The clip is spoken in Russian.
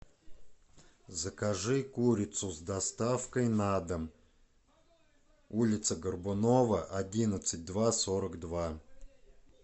закажи курицу с доставкой на дом улица горбунова одиннадцать два сорок два